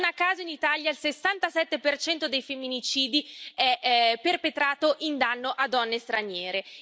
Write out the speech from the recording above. Non a caso in Italia il 67 dei femminicidi è perpetrato in danno a donne straniere.